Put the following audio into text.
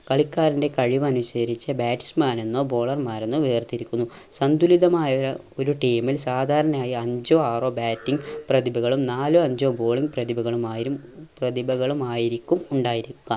കളിക്കാരന്റെ കഴിവ് അനുസരിച്ച് batsman എന്നോ bowler മാരെന്നോ വേർതിരിക്കുന്നു. സന്തുലിതമായ ഒരു team ൽ സാധാരണയായി അഞ്ചോ ആറോ batting പ്രതിഭകളും നാലോ അഞ്ചോ bowling പ്രതിഭകളുമായുരി പ്രതിഭകളുമായിരിക്കും ഉണ്ടായിരിക്കുക.